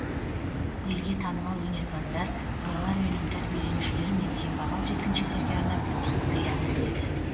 елге танымал өнерпаздар балалар үйінің тәрбиеленушілері мен кембағал жеткіншектерге арнап тосын сый әзірледі